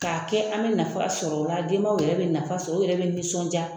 Ka kɛ an be nafa sɔrɔ wa denw yɛrɛ be nafa sɔrɔ u yɛrɛ be nisɔnja.